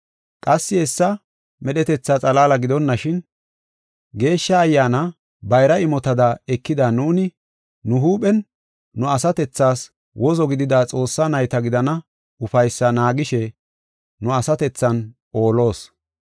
Qassi hessa medhetetha xalaala gidonashin, Geeshsha Ayyaana bayra imotada ekida nuuni, nu huuphen nu asatethaas wozo gidida Xoossaa nayta gidana ufaysaa naagishe nu asatethan oolos.